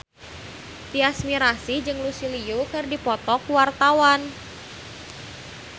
Tyas Mirasih jeung Lucy Liu keur dipoto ku wartawan